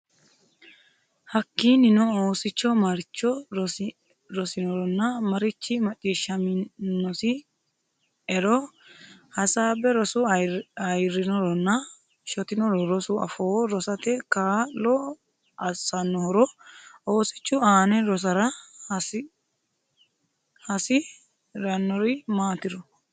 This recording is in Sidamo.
Hakkiinnino oosichu maricho rosinoronna marichi macciishshaminosi e ro hasaabbe Rosu ayirrinoronna shotinoro Rosu afoo rosate kaa lo assannohoro Oosichu aane rosara hasi rannori maatiro.